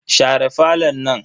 Share falon nan.